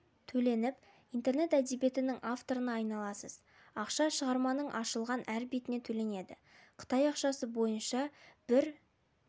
төленіп интернет әдебиетінің авторына айналасыз ақша шығарманың ашылған әр бетіне төленеді қытай ақшасы бойынша бір